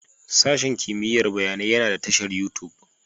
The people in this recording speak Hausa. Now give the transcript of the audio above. Sashen kimiyyar bayanai yana da tashar YouTube